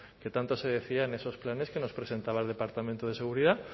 que tanto se decía en esos planes que nos presentaba el departamento de seguridad